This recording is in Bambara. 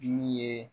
Ju ye